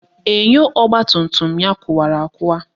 Enyo ọgbatumtum ya kụwara akụwa